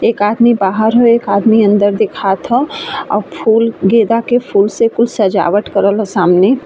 एक आदमी बाहर ह। एक आदमी अंदर दिखात ह और फूल गेंदा के फूल से कुछ सजावट करेल सामने।